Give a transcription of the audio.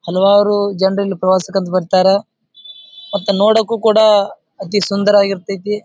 ಹಲವಾರು ಜನ್ರು ಇಲ್ಲಿ ಪ್ರವಾಸಕ್ಕ ಅಂತ ಬರತ್ತಾರ. ಮತ್ತ ನೋಡಕ್ಕೂ ಕೂಡ ಅತಿ ಸುಂದರ ಆಗಿರತೈತಿ.